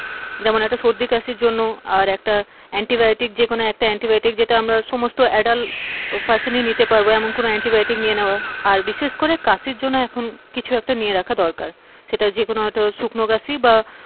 যেমন একটা সর্দি কাশির জন্য আর একটা অ্যান্টিবায়োটিক, যেকোন একটা অ্যান্টিবায়োটিক যেটা আমরা সমস্ত adult person ই নিতে পারবো, এমন একটা অ্যান্টিবায়োটিক নিয়ে নেওয়া আর বিশেষ করে কাশির জন্য এখন কিছু একটা নিয়ে রাখা দরকার সেটা যে কোন একটা শুকনো কাশি বা,